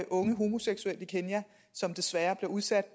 unge homoseksuelle i kenya som desværre bliver udsat